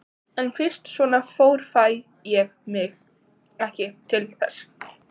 En fyrst svona fór fæ ég mig ekki til þess.